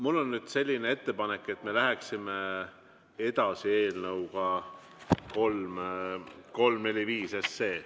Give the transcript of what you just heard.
Mul on nüüd selline ettepanek, et me läheksime edasi eelnõuga 345.